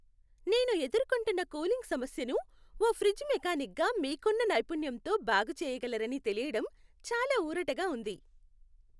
నేను ఎదుర్కొంటున్న కూలింగ్ సమస్యను, ఓ ఫ్రిజ్ మెకానిక్గా మీకున్న నైపుణ్యంతో బాగుచేయగలరని తెలియడం చాలా ఊరటగా ఉంది.